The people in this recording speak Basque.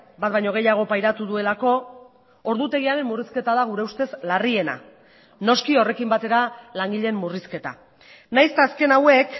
bat baino gehiago pairatu duelako ordutegiaren murrizketa da gure ustez larriena noski horrekin batera langileen murrizketa nahiz eta azken hauek